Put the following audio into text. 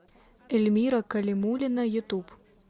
эльмира калимуллина ютуб